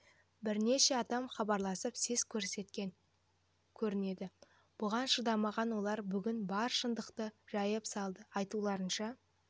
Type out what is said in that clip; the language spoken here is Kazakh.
бірнеше адам хабарласып сес көрсеткен көрінеді бұған шыдамаған олар бүгін бар шындықты жайып салды айтуларынша